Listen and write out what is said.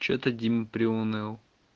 что-то дима приуныл